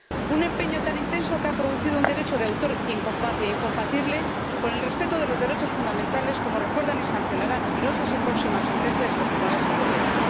Un empeño tan intenso que ha producido un derecho de autor incompatible con el respeto de los derechos fundamentales, como recuerdan y sancionarán numerosas y próximas sentencias de los tribunales europeos.